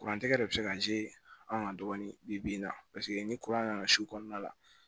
Kuran tɛ yɛrɛ de bɛ se ka anw ka dɔɔnin bi na paseke ni nana kɔnɔna la